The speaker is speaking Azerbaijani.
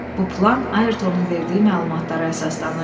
Bu plan Ayrtonun verdiyi məlumatlara əsaslanırdı.